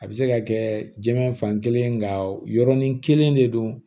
A bɛ se ka kɛ jinɛ fan kelen nka yɔrɔnin kelen de don